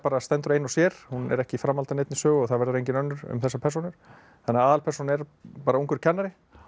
stendur ein og sér hún er ekki framhald af neinni sögu og það verður engin önnur um þessar persónur þannig að aðalpersónan er bara ungur kennari